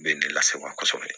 Bɛ ne lase wa kosɛbɛ